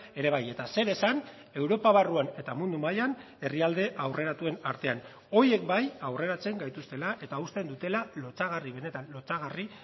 ere bai eta zer esan europa barruan eta mundu mailan herrialde aurreratuen artean horiek bai aurreratzen gaituztela eta uzten dutela lotsagarri benetan lotsagarri